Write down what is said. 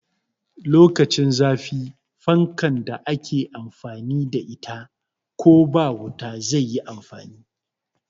Lokacin zafi fankan da ake amfani da ita ko ba wuta zai yi amfani